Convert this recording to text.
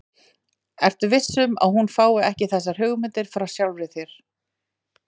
Ertu viss um, að hún fái ekki þessar hugmyndir frá sjálfri þér?